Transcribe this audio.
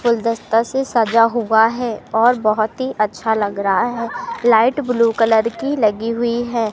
गुलदस्ता से सजा हुआ है और बहोत ही अच्छा लग रहा है। लाइट ब्लू कलर की लगी हुई है।